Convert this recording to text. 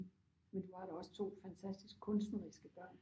Men du har da også to fantastisk kunstneriske børn